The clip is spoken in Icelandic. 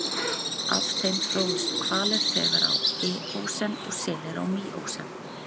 Af þeim þróuðust hvalir þegar á eósen og selir á míósen.